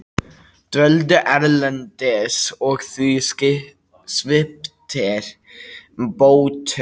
Dvöldu erlendis og því sviptir bótum